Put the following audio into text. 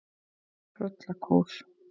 Tröllakór